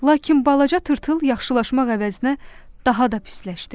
Lakin balaca tırtıl yaxşılaşmaq əvəzinə daha da pisləşdi.